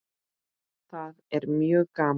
Það er mjög gaman.